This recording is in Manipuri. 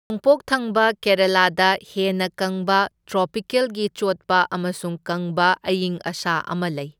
ꯅꯣꯡꯄꯣꯛ ꯊꯪꯕ ꯀꯦꯔꯥꯂꯥꯗ ꯍꯦꯟꯅ ꯀꯪꯕ ꯇ꯭ꯔꯣꯄꯤꯀꯦꯜꯒꯤ ꯆꯣꯠꯄ ꯑꯃꯁꯨꯡ ꯀꯪꯕ ꯑꯌꯤꯡ ꯑꯁꯥ ꯑꯃ ꯂꯩ꯫